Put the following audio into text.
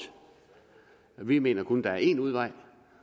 vi mener kun er én udvej